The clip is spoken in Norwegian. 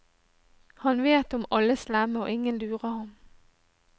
Han vet om alle slemme og ingen lurer han.